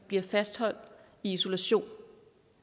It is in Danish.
bliver fastholdt i isolation